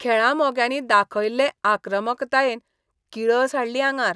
खेळा मोग्यांनी दाखयल्ले आक्रमकतायेन किळस हाडली आंगार.